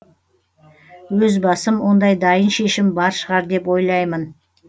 өз басым ондай дайын шешім бар шығар деп ойлаймын